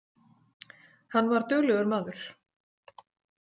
Hann var duglegur maður.